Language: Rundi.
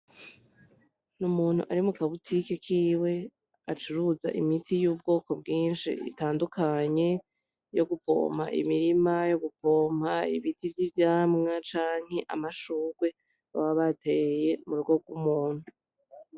N'umuntu ari muka botike kiwe acuruza imiti y'ubwoko bwishi itandukanye yo gupompa imirima yo gupompa ibiti vy'ivyamwa canke amashurwe baba bateye mu rugo rw'umuntu.